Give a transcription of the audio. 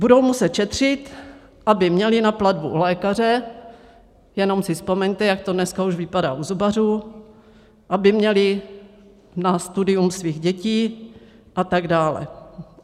Budou muset šetřit, aby měli na platbu u lékaře, jenom si vzpomeňte, jak to dneska už vypadá u zubařů, aby měli na studium svých dětí a tak dále.